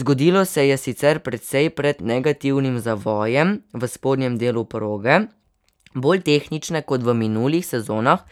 Zgodilo se je sicer precej pred negativnim zavojem v spodnjem delu proge, bolj tehnične kot v minulih sezonah,